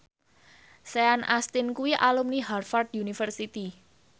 Sean Astin kuwi alumni Harvard university